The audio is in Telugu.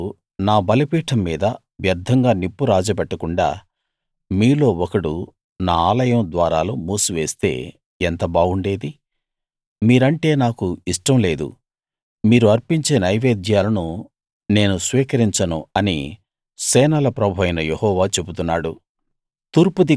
మీరు నా బలిపీఠం మీద వ్యర్థంగా నిప్పు రాజబెట్టకుండా మీలో ఒకడు నా ఆలయం ద్వారాలు మూసివేస్తే ఎంత బాగుండేది మీరంటే నాకు ఇష్టం లేదు మీరు అర్పించే నైవేద్యాలను నేను స్వీకరించను అని సేనల ప్రభువైన యెహోవా చెబుతున్నాడు